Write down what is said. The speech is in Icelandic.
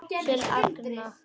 Upp til agna.